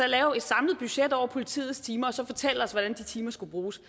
lave et samlet budget over politiets timer og så fortælle os hvordan de timer skal bruges